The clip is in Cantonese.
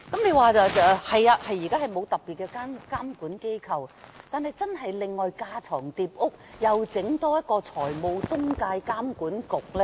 現時確實沒有特別的監管機構，但是否要架床疊屋，另外成立一個財務中介監管局呢？